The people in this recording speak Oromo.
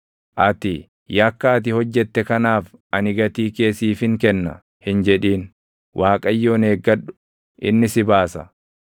Ati, “Yakka ati hojjette kanaaf // ani gatii kee siifin kenna!” hin jedhin; Waaqayyoon eeggadhu; inni si baasa.